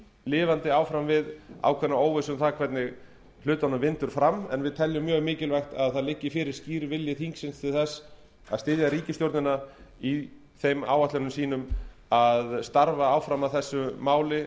lifandi áfram við ákveðna óvissu um hvernig hlutunum vindur fram en við teljum mjög mikilvægt að fyrir liggi skýr vilji þingsins til þess að styðja ríkisstjórnina í þeim áætlunum sínum að starfa áfram að þessu máli